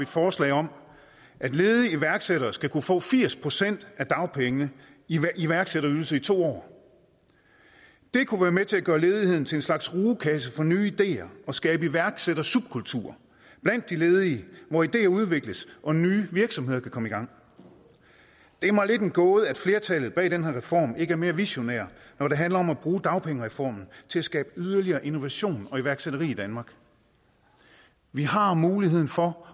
forslag om at ledige iværksættere skal kunne få firs procent af dagpengene i iværksætterydelse i to år det kunne være med til at gøre ledigheden til en slags rugekasse for nye ideer og skabe iværksættersubkulturer blandt de ledige hvor ideer udvikles og nye virksomheder kan komme i gang det er mig lidt en gåde at flertallet bag den her reform ikke er mere visionære når det handler om at bruge dagpengereformen til at skabe yderligere innovation og iværksætteri i danmark vi har muligheden for